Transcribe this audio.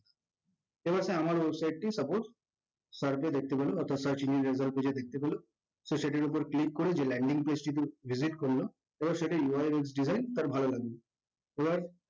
এ অবস্থায় আমার website টি suppose search এ দেখতে পেলো অর্থাৎ search engine result এ গিয়ে দেখতে পেলো। so সেটির উপর click করে যে landing page টিতে visit করলো এবার সেটির UISD এর তার ভালো লাগলো এবার